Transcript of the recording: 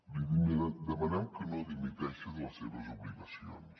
li demanem que no dimiteixi de les seves obligacions